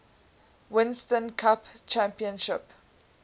winston cup championship